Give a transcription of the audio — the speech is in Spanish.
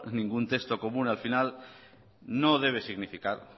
ningún texto común al final